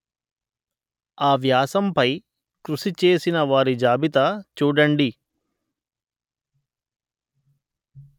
ఆ వ్యాసం పై కృషి చేసిన వారి జాబితా చూడండి